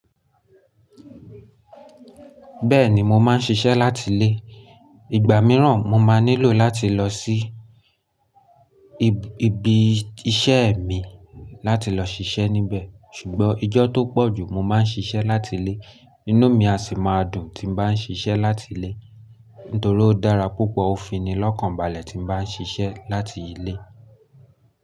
Bẹ́ẹ̀ni mo máa ń ṣiṣẹ́ láti ilé. Ìgbà mìíràn mo máa nílò láti lọ sí ibi iṣẹ́ mi láti lọ ṣiṣẹ́ níbẹ̀. Ṣùgbọ́n ijọ́ tó pọ̀ jù mo máa ń ṣiṣẹ́ láti ilé. Ínú mi a sì máa dùn tí bá ń ṣiṣẹ́ láti ilé, nítorí ó dára púpọ̀, ó fini lọ́kànbalẹ̀ tí bá ń ṣiṣẹ́ láti ilé.